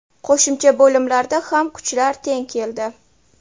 Qo‘shimcha bo‘limlarda ham kuchlar teng keldi.